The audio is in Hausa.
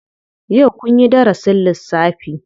Yau kunyi darasin lissafi?